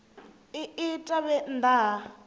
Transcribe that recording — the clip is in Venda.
i ita vhe nnḓa ha